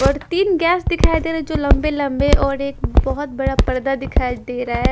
और तीन गैस दिखाई दे रहा है जो लंबे लंबे और एक बहोत बड़ा पर्दा दिखाई दे रहा है।